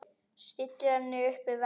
Stillir henni upp við vegg.